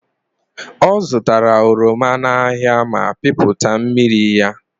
Ọzụtara oroma n'ahịa ma pịpụta mmiri ya.